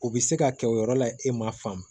U bɛ se ka kɛ o yɔrɔ la e ma faamu